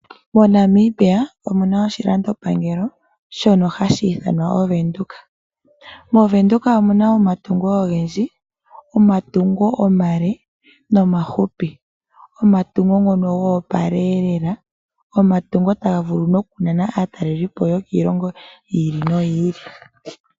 MoNamibia omuna oshilando pangelo shono hashi ithanwa oVenduka. MoVenduka omuna omatungo ogendji omatungo omale nomafupi. Omatungo gono gopaleelela, omatungo ngono tagavulu nokunana aatalelipo yokiilongo yili no yiili.